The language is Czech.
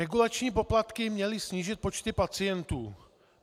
Regulační poplatky měly snížit počty pacientů.